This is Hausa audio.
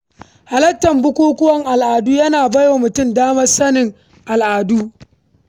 Halartar bukukuwan al’adu yana bai wa mutum damar sanin tarihinsa.